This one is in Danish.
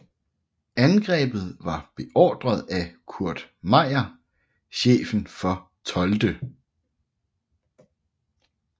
Angrebet var beordret af Kurt Meyer chefen for 12